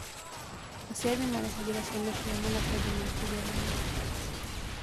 Aciari nĩmarehagĩra ciana ciao maratathi ma kĩgeranio